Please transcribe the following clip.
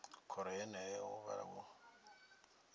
khoro yeneyo hu vha hu